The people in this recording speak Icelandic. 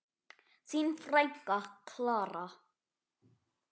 Þín frænka, Klara.